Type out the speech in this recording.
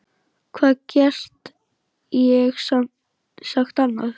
Hvað get ég sagt annað?